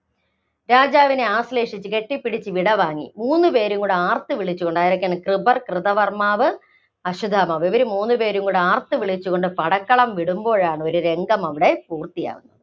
രാജാവിനെ ആശ്ലേഷിച്ച്, കെട്ടിപ്പിടിച്ച് വിടവാങ്ങി. മൂന്നുപേരുംകൂടി ആര്‍ത്തുവിളിച്ചുകൊണ്ട് ആരൊക്കെ, കൃപർ, കൃതകർമ്മാവ്, അശ്വത്ഥമാവ് ഇവര് മൂന്നുപേരും കൂടെ ആര്‍ത്തുവിളിച്ചുകൊണ്ട് പടക്കളം വിടുമ്പോഴാണ് ഒരു രംഗം അവിടെ പൂര്‍ത്തിയാകുന്നത്.